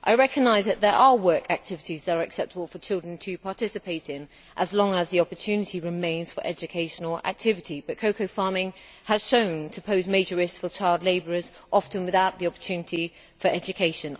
I recognise that there are work activities which are acceptable for children to participate in, as long as the opportunity remains for educational activity. However, cocoa farming has been shown to pose major risks for child labourers often without the opportunity for education.